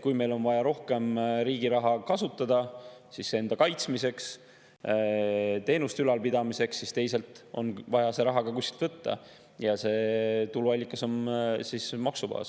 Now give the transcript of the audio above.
Kui meil on vaja rohkem riigi raha kasutada enda kaitsmiseks, teenuste ülalpidamiseks, siis teisalt on vaja see raha ka kuskilt võtta ja see tuluallikas on maksubaas.